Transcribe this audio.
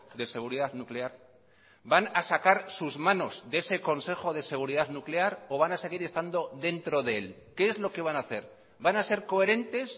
de seguridad nuclear van a sacar sus manos de ese consejo de seguridad nuclear o van a seguir estando dentro de él qué es lo que van a hacer van a ser coherentes